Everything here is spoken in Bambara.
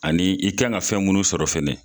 Ani i kan ka fɛn munnu sɔrɔ fɛnɛ